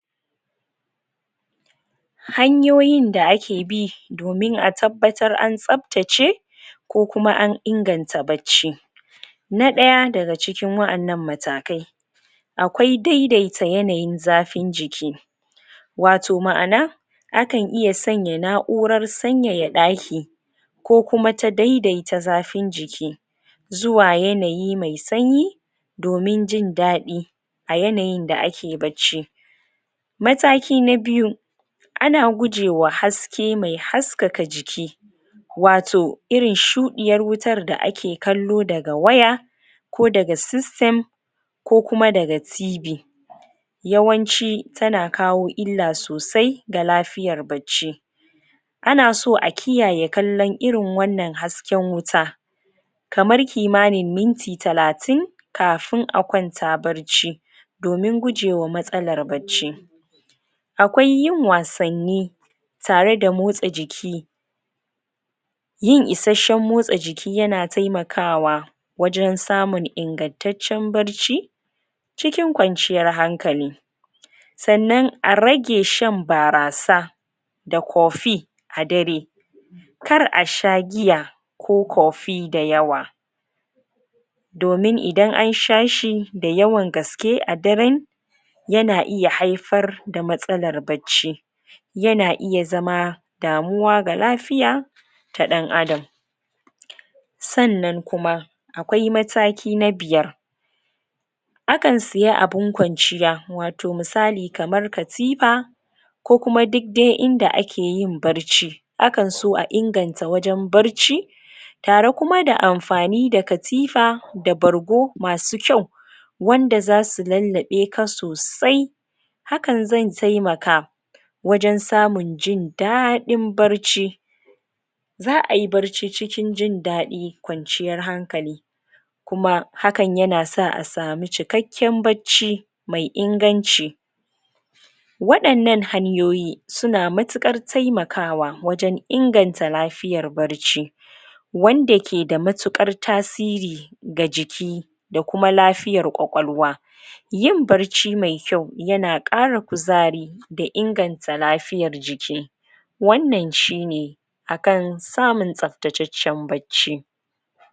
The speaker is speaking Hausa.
hanyoyin da ake bi domin a tabbatar an tsaftace ko kuma an inganta bacci na daya daga cikin wa'ennan matakai akwai daidaita yanayin zafin jiki wato ma'ana akan iya sanya na'uran sanyaya ɗaki ko kuma ta daidaita zafin jiki zuwa yanayi mai sanyi domin jindadi da yanayin da ake bacci mataki na biyu ana guje ma haske mai haskaka jiki wato irin shudiyar wutar da ake kallo daga waya ko daga system ko kuma daga TV yawanci tana kawo illa sosai ga lafiyar bacci ana so a kiyaye kallan irin wannan hasken wuta kamar kimani minti talatin kafin a kwanta bacci domin guje wa matsalan bacci akwai yin wasanni tare da motsa jiki yin isheshen motsa jiki yana taimakawa wajen samun ingantatcen bacci cikin kwanciyar hankali sannan a rage shan barasa da coffee a dare kar a sha giya ko coffee da yawa domin idan an sha shi da yawa daywan gaske a daren yana iya haifar da matsalan bacci yana iya zama damuwa ga lafiya ta dan adam sannan kuma akwai mataki na biyar akan siya abun kwanciya wato misali kamar katifa ko duk dai inda ake yin bacci akan so a inganta wajen bacci tare kuma da amfani da katifa da bargo masu kyau wanda zasu lallabe ka sosai hakan zai taimaka wajen samun jin dadin bacci za'ayi bacci cikin jindadi kwanciyar hankali kuma hakan yana sa a samu cikakken bacci mai inganci wadannan hanyoyi suna matukar taimaka wa wajen inganta lafiyan bacci wanda ke da matukar tasiri ga jiki da kuma lafiyar ƙwaƙwaluwa yin bacci mai kyau yana kara kuzari da inganta lafiyar jiki wannan shine akan samun tsaftacecen bacci